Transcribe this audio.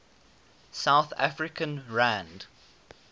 south african rand